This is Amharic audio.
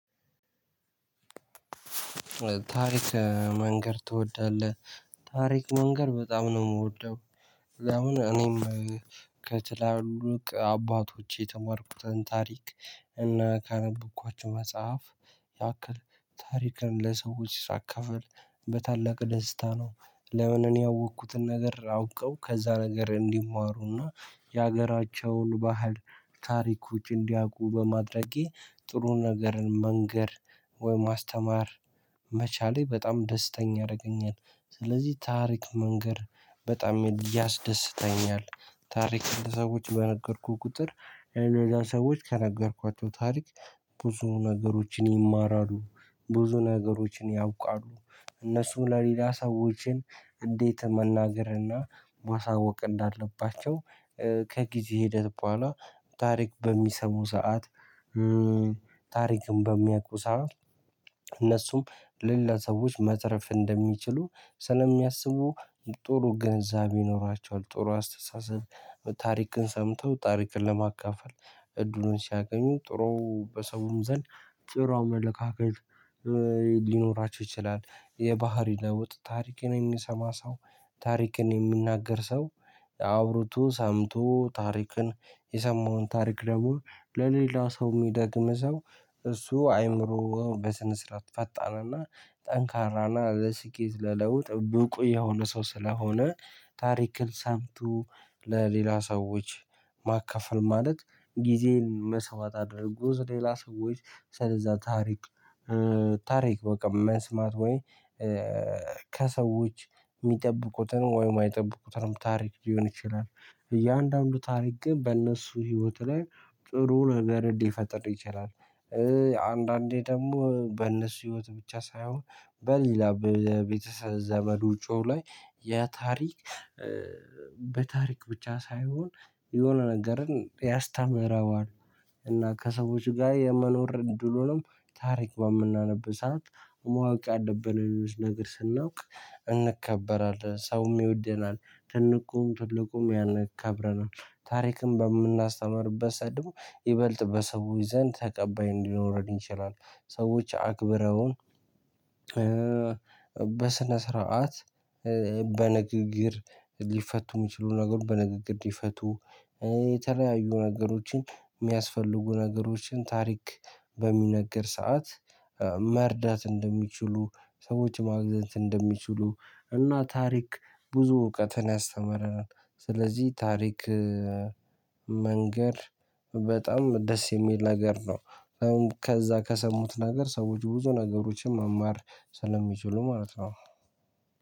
ታሪክ መንገር ትወዳለህ? ታሪክ መንገር በጣም ነው ምወደው። ለምን እኔም ከትላሉቅ አባቶቼ የተማርኩትን ታሪክ እና ካነበብኳቸው መጽሐፍ ያክል ታሪክን ለሰዎች ሳካፍል በታላቅ ደስታ ነው። ለምን እኔ ያወቅኩትን ነገር አውቀው ከዛ ነገር እንዲማሩና የሀገራቸውን ባህል ታሪክ ውጪ እንዲያውቁ በማድረጌ ጥሩ ነገርን መንገር ወይም ማስተማር መቻሌ በጣም ደስተኛ ያረገኛል። ስለዚህ ታሪክ መንገር በጣም ያስደስተኛል። ታሪክ እንደ ለሰዎች በነገርኩ ቁጥር እነዛ ሰዎች ከነገርኳቸው ታሪክ ብዙ ነገሮችን ይማራሉ። ብዙ ነገሮችን ያውቃሉ። እነሱ ለሌላ ሰዎችን እንዴት መናገርና ማሳወቅ እንዳለባቸው። ከጊዜ ሄደህ በኋላ ታሪክ በሚሰሙ ሰዓት ታሪክን በሚያቁ ሰዓት እነሱም ሌላ ሰዎች መትረፍ እንደሚችሉ ስለሚያስቡ ጥሩ ግንዛቤ ይኖራቸዋል። ጥሩ አስተሳሰብ ታሪክን ሰምተው ታሪክን ለማካፈል እድሉን ሲያገኙ ጥሩ በሰውም ዘንድ ጥሩ አመለካከት። ሊኖራቸው ይችላል። የባህሪ ለውጥ ታሪክን የሚሰማ ሰው ታሪክን የሚናገር ሰው አውርቶ ሰምቶ ታሪክን የሰማውን ታሪክ ደግሞ ለሌላው ሰው ሚደግም ሰው እሱ አይምሮ በስነ ስርዓት ፈጣንና ጠንካራና ለስኬት ለለውጥ ብቁ የሆነ ሰው ስለሆነ። ታሪክን ሰምቶ ለሌላ ሰዎች ማካፈል ማለት ጊዜን መሰዋት አድርጎ ስሌላ ሰዎች ስለዛ ታሪክ። ታሪክ በቃ መስማት ወይ ከሰዎች ሚጠብቁትን ወይም የማይጠብቁትንም ታሪክ ሊሆን ይችላል። እያንዳንዱ ታሪክ ግን በእነሱ ህይወት ላይ ጥሩ ነገርን ሊፈጥር ይችላል። አንዳንዴ ደግሞ በእነሱ ህይወት ብቻ ሳይሆን በሌላ በቤተሰብ ዘመድ ውጪው ላይ የታሪክ በታሪክ ብቻ ሳይሆን የሆነ ነገርን ያስተምረዋል። እና ከሰዎች ጋር የመኖር እድሉንም ታሪክ በምናነብ ሰዓት ማወቅ ያለብን ሌሎች ነገር ስናውቅ እንከበራለን ሰውም ይወደናል። ትንቁም ትልቁም ያን ያከብረናል። ታሪክም በምናስተምርበት ሰዓት ደሞ ይበልጥ በሰዎች ዘንድ ተቀባይ እንዲኖረን ይችላል። ሰዎች አክብረውን። በስነ ስርዓት በንግግር ሊፈቱ ሚችሉ ነገሮች በንግግር ሊፈቱ። የተለያዩ ነገሮችን ሚያስፈልጉ ነገሮችን ታሪክ በሚነገር ሰዓት መርዳት እንደሚችሉ ሰዎች ማግዘንት እንደሚችሉ እና ታሪክ ብዙ እውቀትን ያስተምረናል። ስለዚህ ታሪክ መንገር በጣም ደስ የሚል ነገር ነው። ከዛ ከሰሙት ነገር ሰዎች ብዙ ነገሮችን መማር ስለሚችሉ ማለት ነው።